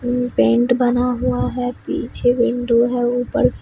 अं paint बना हुआ है पीछे विंडो है ऊपर--